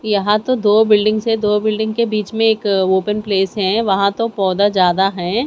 यहां तो दो बिल्डिंग्स है दो बिल्डिंग के बीच में एक ओपन प्लेस है वहां तो पौधा ज्यादा है।